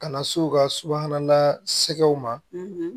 Ka na s'u ka subahana na sɛgɛsɛgɛw ma